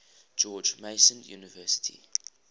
george mason university